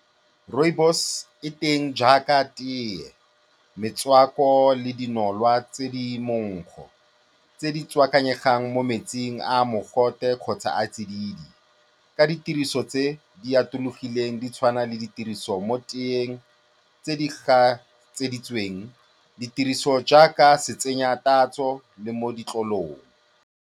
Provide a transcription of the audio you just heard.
Rooibos e teng jaaka teye, metswako le dinolwa tse di monkgo tse di tswakanyegang mo metsing a a mogote kgotsa a a tsididi ka ditiriso tse di atologileng di tshwana le ditiriso mo teyeng, tse di gatseditsweng, ditiriso jaaka setsenyatatso le mo ditlolong.